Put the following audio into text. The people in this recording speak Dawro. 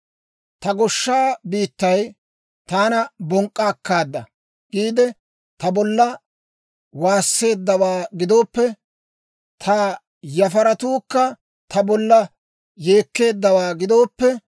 «Ta goshsha biittay, ‹Taana bonk'k'a akkaada!› giide, ta bolla waasseeddawaa gidooppe, ta yafaratuukka ta bolla yeekkeeddawaa gidooppe,